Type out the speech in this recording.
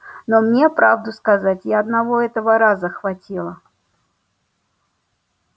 но мне правду сказать и одного этого раза хватило